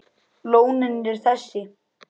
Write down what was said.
Lónin eru þessi